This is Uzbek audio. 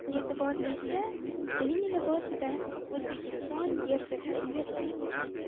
E’tiborlisi uning libosida O‘zbekiston gerbi tasvirlangan.